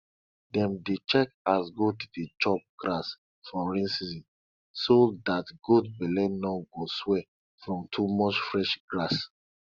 dem dey check as goat dey chop grass for rain season so dat goat belle no go swell from too much fresh grass